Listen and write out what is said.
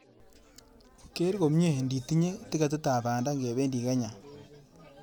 Geer komnyei ndetinyei tiketitab banda ngependi Kenya